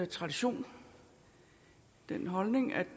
tradition den holdning at